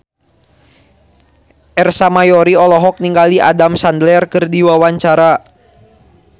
Ersa Mayori olohok ningali Adam Sandler keur diwawancara